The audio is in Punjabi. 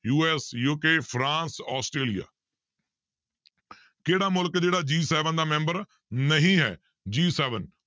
USUK ਫਰਾਂਸ ਆਸਟ੍ਰੇਲੀਆ ਕਿਹੜਾ ਮੁਲਕ ਜਿਹੜਾ G seven ਦਾ ਮੈਂਬਰ ਨਹੀਂ ਹੈ G seven